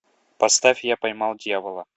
поставь я поймал дьявола